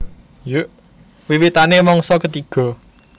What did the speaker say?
Wiwitané mangsa ketiga